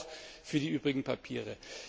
Das gilt auch für die übrigen Papiere.